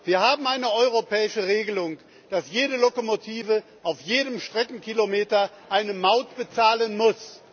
Wir haben eine europäische Regelung, dass jede Lokomotive auf jedem Streckenkilometer eine Maut bezahlen muss.